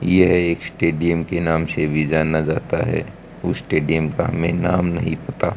यह एक स्टेडियम के नाम से भी जाना जाता है उस स्टेडियम का हमें नाम नहीं पता।